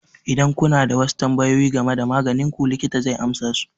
Idan kuna da wasu tambayoyi game da maganin ku, likita zai amsa su.